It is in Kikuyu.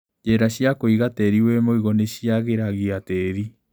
Njĩra cia kũiga tĩri wĩmũigũ nĩciagĩragia tĩri.